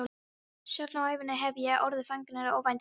Sjaldan á ævinni hef ég orðið fegnari óvæntri aðstoð.